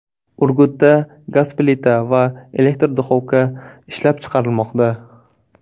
Urgutda gaz plita va elektr duxovka ishlab chiqarilmoqda.